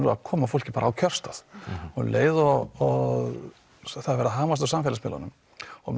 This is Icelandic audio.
að koma fólki á kjörstað og um leið og það er verið að hamast á samfélagsmiðlunum og